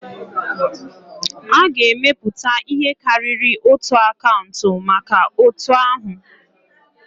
A ga-emepụta ihe karịrị otu akaụntụ maka otu ahu